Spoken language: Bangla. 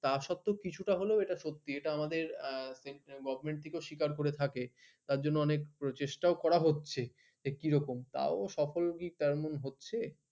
তা সত্ত্বেও কিছু টা হলেও কিছু টা হলেও সত্যি এটা আমাদের গভ থেকেও স্বীকার করে থাকে তার জন্য অনেক চেষ্টা ও করা হচ্ছে যে কি রকম সফল কি তেমন হচ্ছে